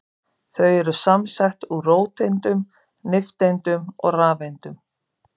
Þau eru samsett úr róteindum, nifteindum og rafeindum.